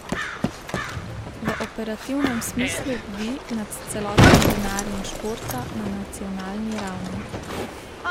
V operativnem smislu bdi nad celotnim denarjem športa na nacionalni ravni.